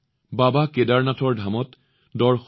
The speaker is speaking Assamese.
যত শ্ৰদ্ধা থাকে সৃষ্টি আৰু ইতিবাচকতাও আছে